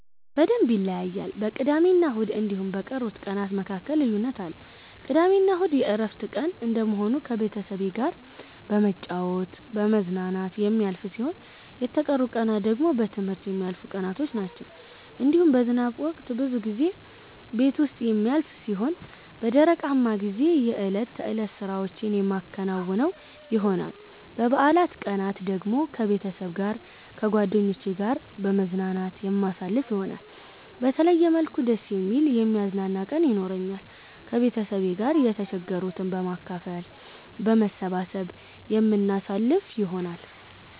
በደምብ ይለያያል በቅዳሜና እሁድ እንዲሁም በቀሩት ቀናት መካከል ልዩነት አለ። ቅዳሜና እሁድ የእረፍት ቀን እንደመሆኑ ከቤተሰብ ጋራ በመጫወት በመዝናናት የሚያልፍ ሲሆን የተቀሩት ቀናት ደግሞ በትምህርት የሚያልፉቀናቶች ናቸዉ። እንዲሁም በዝናብ ወቅት ብዙ ጊዜ ቤት ዉስጥ የሚያልፍ ሲሆን በደረቃማ ጊዜ የእለት ተእለት ስራዎቼን የማከናዉን ይሆናል። በበአላት ቀናት ደግሞ ከቤተሰብ ጋር ከጓደኜቼ ጋራ በመዝናናት የማሳልፍ ይሆናል። በተለየ መልኩ ደስ የሚል የሚያዝናና ቀን የኖራኛል። ከቤተሰብ ጋር የተቸገሩትን በማካፈል በመሰባሰብ የምናሳልፍ ይሆናል።